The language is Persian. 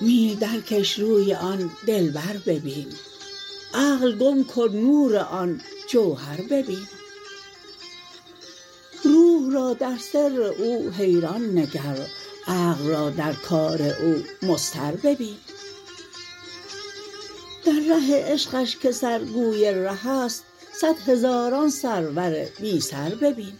میل درکش روی آن دلبر ببین عقل گم کن نور آن جوهر ببین روح را در سر او حیران نگر عقل را در کار او مضطر ببین در ره عشقش که سر گوی ره است صد هزاران سرور بی سر ببین